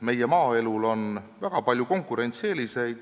Meie maaelul on väga palju konkurentsieeliseid.